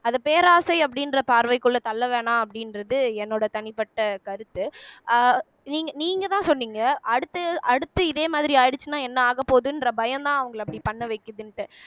அத பேராசை அப்படின்ற பார்வைக்குள்ள தள்ள வேணாம் அப்படின்றது என்னோட தனிப்பட்ட கருத்து அஹ் நீங்க நீங்க தான் சொன்னீங்க அடுத்து அடுத்து இதே மாதிரி ஆயிடுச்சுன்னா என்ன ஆகப்போகுதுன்ற பயம்தான் அவங்களை அப்படி பண்ண வைக்குதுன்னுட்டு